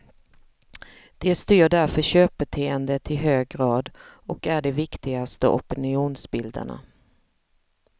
De styr därför köpbeteendet i hög grad och är de viktigaste opinionsbildarna.